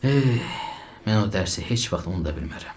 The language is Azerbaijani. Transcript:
Eh, mən o dərsi heç vaxt unuda bilmərəm.